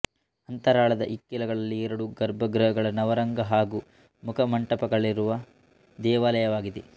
ಅಂತರಾಳದ ಇಕ್ಕೆಲಗಳಲ್ಲಿ ಎರಡು ಗರ್ಭಗೃಹಗಳು ನವರಂಗ ಹಾಗೂ ಮುಖಮಂಟಪಗಳಿರುವ ದೇವಾಲಯವಾಗಿದೆ